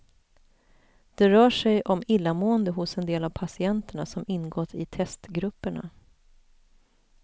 Det rör sig om illamående hos en del av patienterna som ingått i testgrupperna.